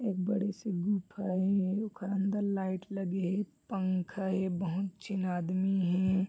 एक बड़े से गुफा हे ओखर अंदर लाइट लगी हे पंखा हे बहुत झिन आदमी हे।